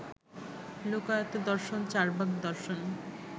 লোকায়ত দর্শন চার্বাক দর্শন